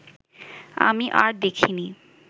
আমি আর দেখিনি